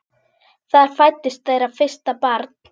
Þar fæddist þeirra fyrsta barn.